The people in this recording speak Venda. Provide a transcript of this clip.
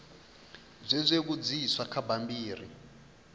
zwe zwa vhudziswa kha bammbiri